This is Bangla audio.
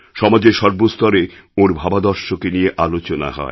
সমাজের সর্বস্তরে ওঁর ভাবাদর্শকে নিয়েআলোচনা হয়